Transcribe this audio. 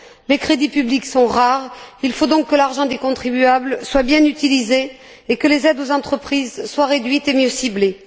Les crédits publics sont rares, il faut donc que l'argent des contribuables soit bien utilisé et que les aides aux entreprises soient réduites et mieux ciblées.